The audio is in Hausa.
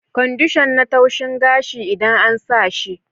Kwandishan na taushin gashi idan an sa shi.